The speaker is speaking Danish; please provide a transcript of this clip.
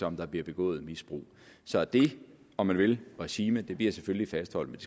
om der bliver begået misbrug så det om man vil regime bliver selvfølgelig fastholdt